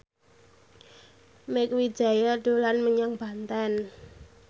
Mieke Wijaya dolan menyang Banten